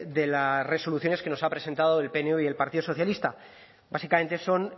de las resoluciones que nos ha presentado el pnv y el partido socialista básicamente son